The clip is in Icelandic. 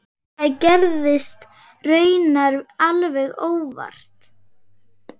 Það gerðist raunar alveg óvart.